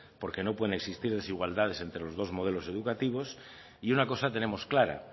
porque no pueden existir desigualdades entre los dos modelos educativos y una cosa tenemos clara